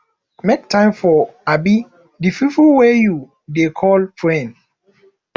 make time for um di pipo wey you dey call friend